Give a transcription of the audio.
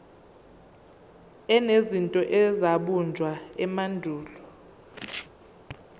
enezinto ezabunjwa emandulo